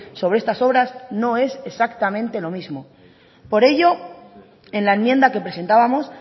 sobre estas obras no es exactamente lo mismo por ello en la enmienda que presentábamos